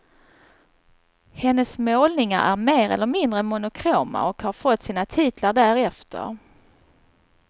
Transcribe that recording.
Hennes målningar, är mer eller mindre monokroma och har fått sina titlar därefter.